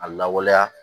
A lawaleya